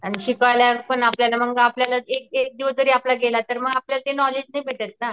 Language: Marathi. आणि शिकवायला पण आपल्याला मंग आपल्याला एक एक दिवस जरी आपला गेला तर आपल्याला मग ते नॉलेज नाही भेटत ना.